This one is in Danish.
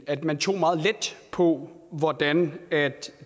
at man tog meget let på hvordan